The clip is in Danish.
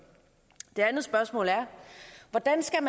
det andet spørgsmål er hvordan skal